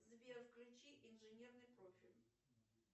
сбер включи инженерный профиль